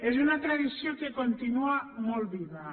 és una tradició que continua molt viva